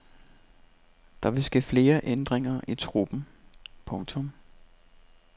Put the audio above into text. Der vil ske flere ændringer i truppen. punktum